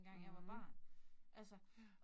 Mh. Ja